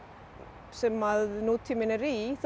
sem að nútíminn er í þó hún